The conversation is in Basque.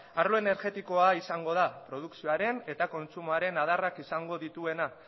arlo energetikoa izango da produkzioaren eta kontsumoaren adarrak izango dituena